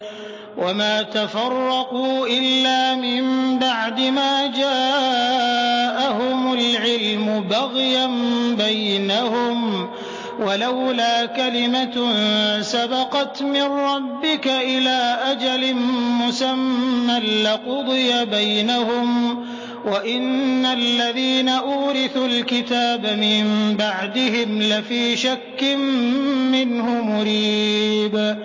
وَمَا تَفَرَّقُوا إِلَّا مِن بَعْدِ مَا جَاءَهُمُ الْعِلْمُ بَغْيًا بَيْنَهُمْ ۚ وَلَوْلَا كَلِمَةٌ سَبَقَتْ مِن رَّبِّكَ إِلَىٰ أَجَلٍ مُّسَمًّى لَّقُضِيَ بَيْنَهُمْ ۚ وَإِنَّ الَّذِينَ أُورِثُوا الْكِتَابَ مِن بَعْدِهِمْ لَفِي شَكٍّ مِّنْهُ مُرِيبٍ